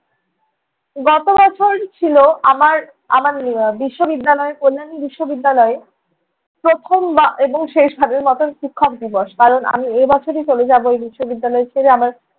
গত বছর ছিলো আমার আমার উম বিশ্ববিদ্যালয়ে কল্যাণী বিশ্ববিদ্যালয়ে প্রথম বা~ এবং শেষ ভাবের মতন শিক্ষক দিবস। কারণ আমি এই বছরই চলে যাবো এই বিশ্ববিদ্যালয় ছেড়ে। আমার